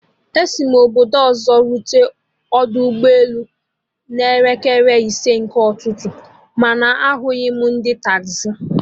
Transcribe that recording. Esi mụ obodo ọzọ rute ọdọ ụgbọ elu a a n'elekere isi nke ụtụtụ, mana ahụghị m ndị taxi